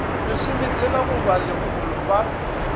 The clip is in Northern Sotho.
lesometshela go ba lekgolo ba